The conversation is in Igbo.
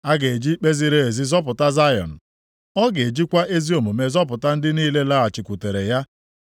A ga-eji ikpe ziri ezi zọpụta Zayọn. Ọ ga-ejikwa ezi omume zọpụta ndị niile lọghachikwutere ya.